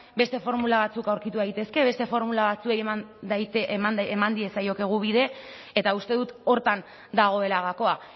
beste formula batzuk aurkitu daitezke beste formula batzuei eman diezaiekegu bide eta uste dut horretan dagoela gakoa